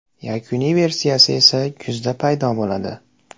Yakuniy versiyasi esa kuzda paydo bo‘ladi.